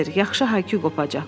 Yaxşı hay-küy qopacaq.